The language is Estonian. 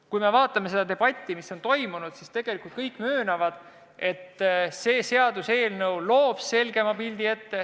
Kui me vaatame seda debatti, mis on toimunud, siis kõik möönavad, et see seaduseelnõu loob selgema pildi.